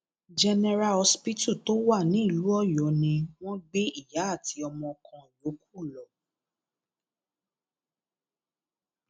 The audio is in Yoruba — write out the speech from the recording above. general hospital tó wà nílùú ọyọ ni wọn gbé ìyá àti ọmọ kan yòókù lọ